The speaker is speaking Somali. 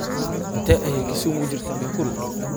Intee ayay Kisumu u jirtaa Nakuru?